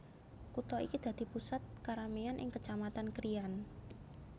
Kutha iki dadi pusat kerameyan ing Kecamatan Krian